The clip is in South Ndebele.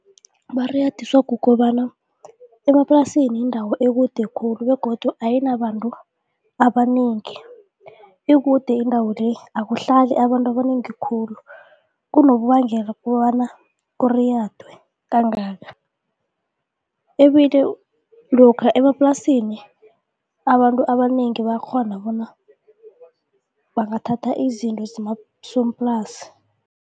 Bariyadiswa kukobana emaplasini yindawo ekude khulu begodu ayinabantu abanengi, ikude indawo le akuhlali abantu abanengi khulu kungunobangela kobana kuriyadwe kangaka, ebile lokha emaplasini abantu abanengi bayakghona bona bangathatha izinto zemaskomplasi.